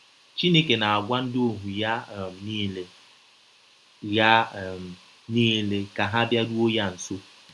Chineke na - agwa ndị ọhụ ya um niile ya um niile ka ha bịarụọ ya nsọ